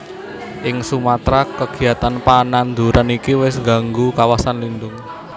Ing Sumatra kegiatan pananduran iki wis gganggu kawasan lindung